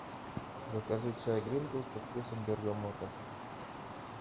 закажи чай гринфилд со вкусом бергамота